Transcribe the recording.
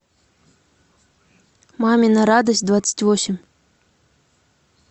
мамина радость двадцать восемь